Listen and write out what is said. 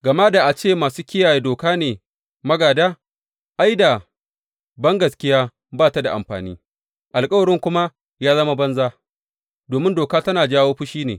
Gama da a ce masu kiyaye doka ne magāda, ai, da bangaskiya ba ta da amfani, alkawarin kuma ya zama banza, domin doka tana jawo fushi ne.